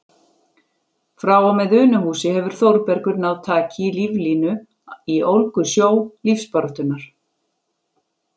Frá og með Unuhúsi hefur Þórbergur náð taki á líflínu í ólgusjó lífsbaráttunnar.